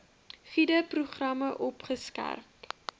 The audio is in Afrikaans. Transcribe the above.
gude programme opgeskerp